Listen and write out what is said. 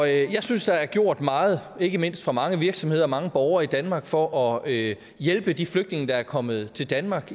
jeg synes der er gjort meget ikke mindst fra mange virksomheder og mange borgere i danmark for at hjælpe de flygtninge der er kommet til danmark